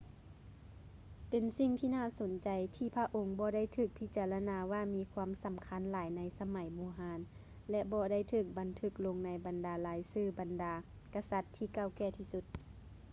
ເປັນສິ່ງທີ່ໜ້າສົນໃຈ ທີ່ພະອົງບໍ່ໄດ້ຖືກພິຈາລະນາວ່າມີຄວາມສຳຄັນຫຼາຍໃນສະໄໝບູຮານ ແລະ ບໍ່ໄດ້ຖືກບັນທຶກລົງໃນບັນດາລາຍຊື່ບັນດາກະສັດທີ່ເກົ່າແກ່ທີ່ສຸດ